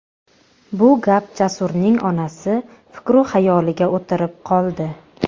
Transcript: Bu gap Jasurning onasi fikru-xayoliga o‘tirib qoldi.